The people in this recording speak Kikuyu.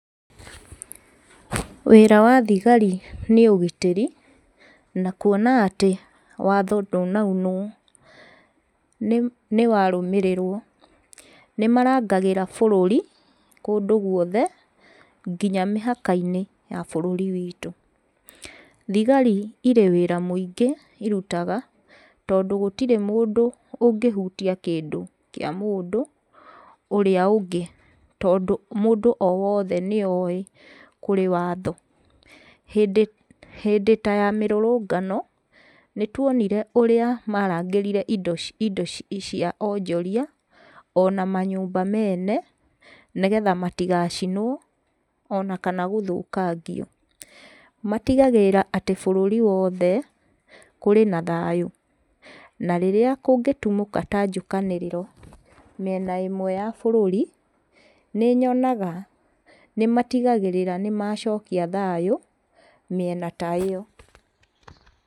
Wĩra wa thigari nĩ ũgitĩri na kuona atĩ watho ndũnaunwo nĩ, nĩwarũmĩrĩrwo. Nĩmarangagĩra bũrũri kũndũ guothe nginya mĩhaka-inĩ ya bũrũri witũ. Thigari irĩ wĩra mũingĩ irutaga tondũ gũtirĩ mũndũ ũngĩhutia kĩndũ kĩa mũndũ ũrĩa ũngĩ, tondũ mũndũ o wothe nĩ oĩ kũrĩ watho. Hĩndĩ, hĩndĩ ta ya mĩrũrũngano, nĩtuonire ũrĩa marangĩrire indo ci, indo ci, cia onjoria ona manyũmba mene, nĩgetha matigacinwo ona kana gũthũkangio. Matigagĩrĩra atĩ bũrũri wothe kũrĩ na thayũ, na rĩrĩa kũngĩtumũka ta njũkanĩrĩro mĩena ĩmwe ya bũrũri, nĩnyonaga nĩmatigagĩrĩra nĩmacokia thayũ mĩena ta ĩyo.